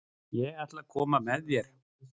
Ég ætla að koma með þér!